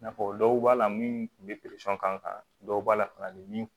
N'a fɔ dɔw b'a la min kun bɛ kan dɔw b'a la kana ni min